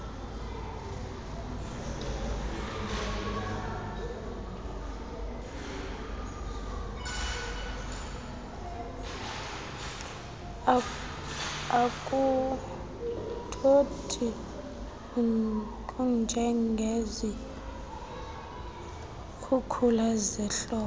akuthothi kunjengezikhukula zehlobo